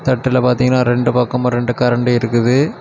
தட்டுல பாத்தீங்கன்னா ரெண்டு பக்கமும் ரெண்டு கரண்டி இருக்குது.